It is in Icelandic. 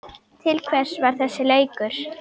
Til hvers var þessi leikur?